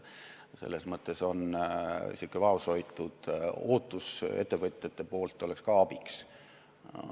Selles mõttes oleks ettevõtjate vaoshoitud ootus ka abiks.